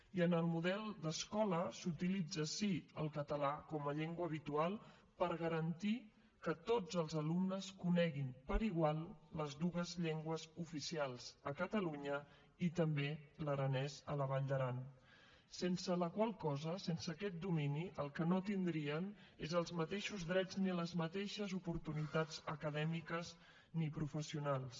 i en el model d’escola s’utilitza sí el català com a llengua habitual per garantir que tots els alumnes coneguin per igual les dues llengües oficials a catalunya i també l’aranès a la vall d’aran sense la qual cosa sense aquest domini el que no tindrien és els mateixos drets ni les mateixes oportunitats acadèmiques ni professionals